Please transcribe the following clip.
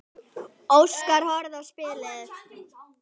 Óskar horfði á spilin.